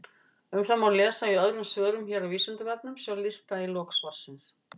Um það má lesa í öðrum svörum hér á Vísindavefnum, sjá lista í lok svarsins.